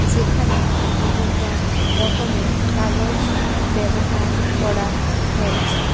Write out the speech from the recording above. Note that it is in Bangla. যেখানে বিভিন্ন রকমের কাগজ ব্যবহার করা হয়েছে।